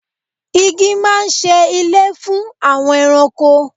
Igi máa ń ṣe ilé fún àwọn ẹranko.